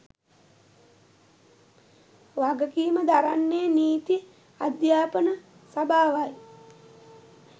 වගකීම දරන්නේ නීති අධ්‍යාපන සභාවයි.